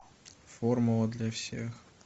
формула для всех